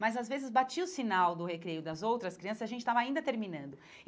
Mas, às vezes, batia o sinal do recreio das outras crianças e a gente estava ainda terminando.